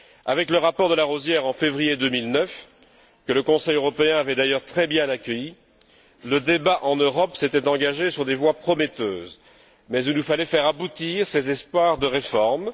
Avec le rapport de Larosière en février 2009, que le Conseil européen avait d'ailleurs très bien accueilli, le débat en Europe s'était engagé sur des voies prometteuses, mais il nous fallait faire aboutir ces espoirs de réforme.